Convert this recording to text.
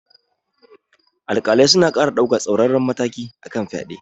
Alƙalai suna ƙara daukar tsauraran matakai kan fyade.